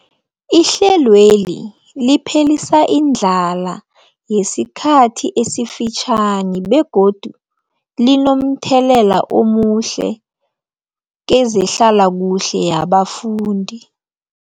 Ihlelweli liphelisa indlala yesikhathi esifitjhani begodu linomthelela omuhle kezehlalakuhle yabafundi.